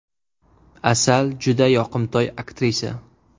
Asal juda yoqimtoy aktrisa.